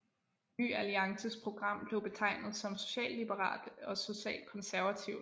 Ny Alliances program blev betegnet som socialliberalt og socialkonservativt